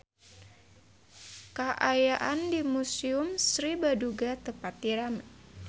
Kaayaan di Museum Sri Baduga teu pati rame